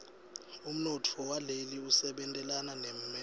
umnotfo waleli usebentelana nemelika